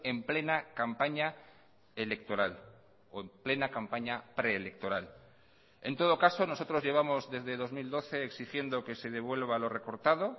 en plena campaña electoral o en plena campaña preelectoral en todo caso nosotros llevamos desde dos mil doce exigiendo que se devuelva lo recortado